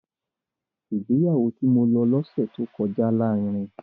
Ìgbéyàwó tí mo lọ lọ́sẹ̀ tí ó kọjá lárinrin